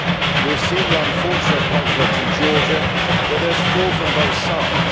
We have seen the unfortunate conflict in Georgia, where there was fault on both sides.